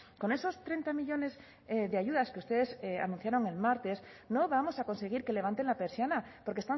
con esos treinta millónes de ayudas que ustedes anunciaron el martes no vamos a conseguir que levanten la persiana porque